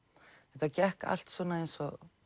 þetta gekk allt svona eins og